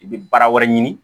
I bɛ baara wɛrɛ ɲini